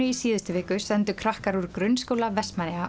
í síðustu viku sendu krakkar úr Grunnskóla Vestmannaeyja